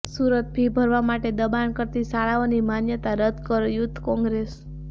Surat fee ભરવા માટે દબાણ કરતી શાળાઓની માન્યતા રદ્દ કરોઃ યુથ કોંગ્રેસ